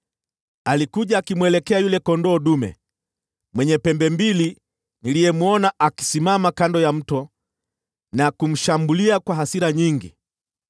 Alikuja akimwelekea yule kondoo dume mwenye pembe mbili niliyemwona akisimama kando ya mto, akamshambulia kwa hasira nyingi.